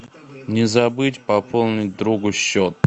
не забыть пополнить другу счет